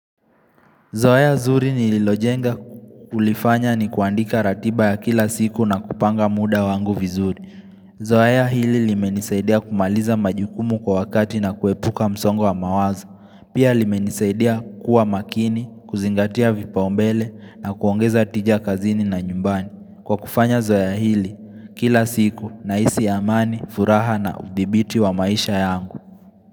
Zoeya zuri nililojenga kulifanya ni kuandika ratiba ya kila siku na kupanga muda wangu vizuri. Zoeya hili limenisaidia kumaliza majukumu kwa wakati na kuepuka msongo wa mawazo. Pia limenisaidia kuwa makini, kuzingatia vipaombele na kuongeza tija kazini na nyumbani. Kwa kufanya zoeya hili, kila siku nahisi amani, furaha na udhibiti wa maisha yangu.